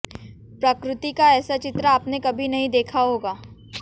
प्रकृति का ऐसा चित्र आपने कभी नहीं देखा होगा